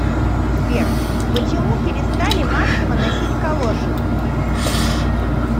сбер почему перестали массово носить калоши